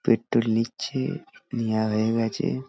Petrol নিচ্ছে নেওয়া হয়ে গেছে।